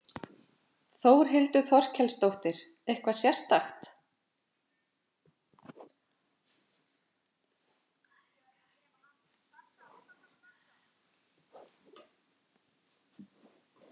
Þórhildur Þorkelsdóttir: Eitthvað sérstakt?